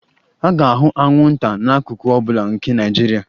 A ga-ahụ anwụnta n'akụkụ ọ bụla nke Naijiria